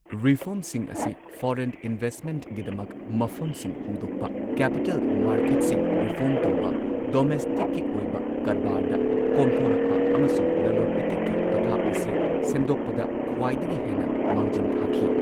ꯔꯤꯐꯣꯔꯝꯁꯤꯡ ꯑꯁꯤ ꯐꯣꯔꯦꯟ ꯏꯟꯚꯦꯁꯠꯃꯦꯟꯠꯒꯤꯗꯃꯛ ꯃꯐꯝꯁꯤꯡ ꯍꯣꯡꯗꯣꯛꯄ, ꯀꯦꯄꯤꯇꯦꯜ ꯃꯥꯔꯀꯦꯠꯁꯤꯡ ꯔꯤꯐꯣꯔꯝ ꯇꯧꯕ, ꯗꯣꯃꯦꯁꯇꯤꯛꯀꯤ ꯑꯣꯏꯕ ꯀꯔꯕꯥꯔꯗ ꯀꯣꯝꯊꯣꯔꯛꯄ, ꯑꯃꯁꯨꯡ ꯂꯂꯣꯜ ꯏꯇꯤꯛꯀꯤ ꯄꯊꯥꯞ ꯑꯁꯤ ꯁꯦꯝꯗꯣꯛꯄꯗ ꯈ꯭ꯋꯥꯢꯗꯒꯤ ꯍꯦꯟꯅ ꯃꯥꯡꯖꯤꯟ ꯊꯥꯈꯤ꯫